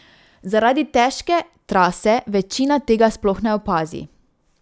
Zaradi težke trase večina tega sploh ne opazi.